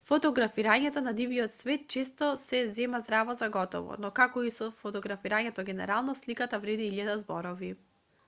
фотографирањето на дивиот свет често се зема здраво за готово но како и со фотографирањето генерално сликата вреди илјада зборови